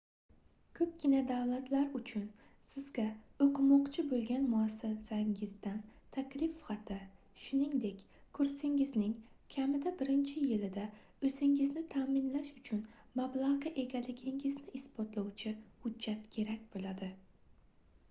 koʻpgina davlatlar uchun sizga oʻqimoqchi boʻlgan muassasangizdan taklif xati shuningdek kursingizning kamida birinchi yilida oʻzingizni taʼminlash uchun mablagʻga egaligingizni isbotlovchi hujjat kerak boʻladi